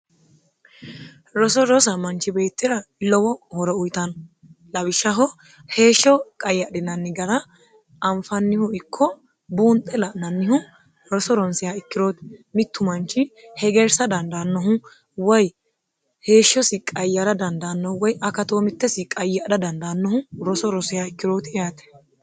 roso rosa manchi beettira lowo horo uyitano lawishshaho heeshsho qayyadhinanni gara anfannihu ikko buunxe la'nannihu roso ronsiha ikkirooti mittu manchi hegeersa dandaannohu woy heeshshosi qayyara dandaannou woy akatoo mittesi qayyadha dandaannohu roso rosiha ikkirooti yaate